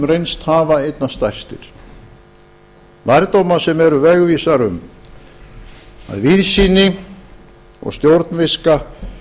reynst hafa einna stærstir lærdóma sem eru vegvísar um að víðsýni og stjórnviska